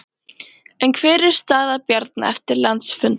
En hver er staða Bjarna eftir landsfundinn?